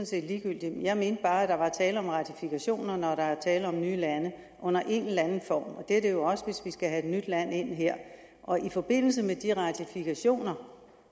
set ligegyldigt jeg mener bare at der er tale om ratifikationer når der er tale om nye lande under en eller anden form og det er der jo også hvis vi skal have et nyt land ind her og i forbindelse med de ratifikationer